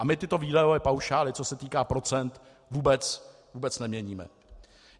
A my tyto výdajové paušály, co se týká procent, vůbec neměníme.